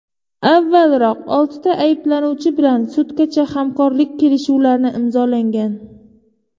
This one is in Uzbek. Avvalroq oltita ayblanuvchi bilan sudgacha hamkorlik kelishuvlarni imzolangan.